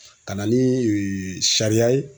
Ka na ni ee sariya ye